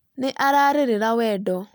Nĩ ararerera wendo